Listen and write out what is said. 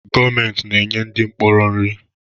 Gọọmentị na-enye ndị mkpọrọ nri